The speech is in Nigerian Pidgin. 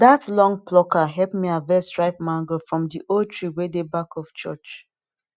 that long plucker help me harvest ripe mango from the old tree wey dey back of church